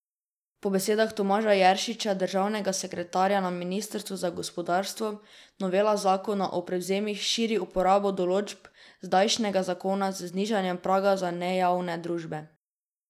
Po besedah Tomaža Jeršiča, državnega sekretarja na ministrstvu za gospodarstvo, novela zakona o prevzemih širi uporabo določb zdajšnjega zakona z znižanjem praga za nejavne družbe.